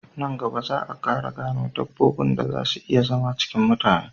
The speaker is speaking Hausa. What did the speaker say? Nan gaba za a Ƙara gano dabbobin da zan si iya zama cikin mutane